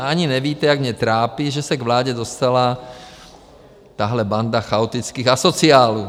Ani nevíte, jak mě trápí, že se k vládě dostala tahle banda chaotických asociálů.